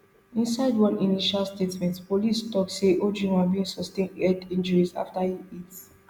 inside one initial statement police tok say ojwang bin sustain head injuries afta e hit